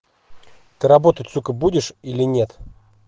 ты работать сука будешь или нет